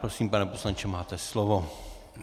Prosím, pane poslanče, máte slovo.